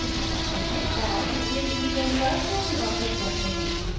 पिछले रिवीजन पर कैसे वापस जाते हैं